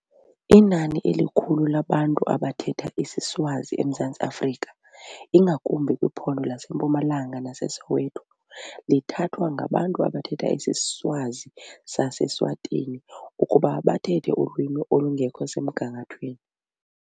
Inani elikhulu labantu abathetha isiSwazi eMzantsi Afrika ingakumbi kwiphondo laseMpumalanga, naseSoweto lithathwa ngabantu abathetha isiSwazi saseSwatini ukuba bathethe ulwimi olungekho semgangathweni.